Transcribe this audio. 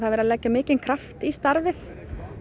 verið að leggja mikinn kraft í starfið